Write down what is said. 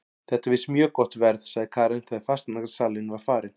Þetta er víst mjög gott verð, sagði Karen þegar fasteignasalinn var farinn.